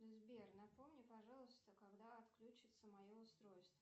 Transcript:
сбер напомни пожалуйста когда отключится мое устройство